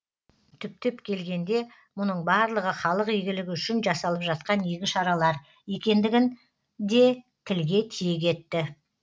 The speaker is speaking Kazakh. түптеп келгенде мұның барлығы халық игілігі үшін жасалып жатқан игі шаралар екендігін де тілге тиек етті